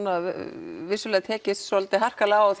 vissulega tekist svolítið harkalega á